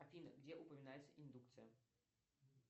афина где упоминается индукция